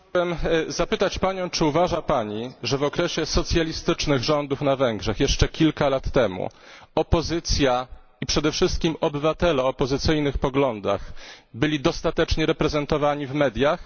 Chciałem zapytać, czy uważa Pani, że w okresie socjalistycznych rządów na Węgrzech, jeszcze kilka lat temu, opozycja i przede wszystkim obywatele o opozycyjnych poglądach byli dostatecznie reprezentowani w mediach?